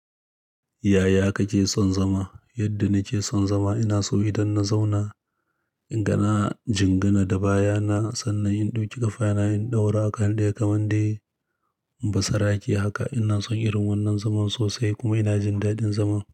Yaya kake son zama? Yadda nake son zama ina so idan na zauna, in ga na jingina da baya na, sannan in ɗauki ƙafa yana in ɗaura akan daya kamar dai basarake haka. Ina son irin wannan zaman sosai kuma ina jin daɗin zama.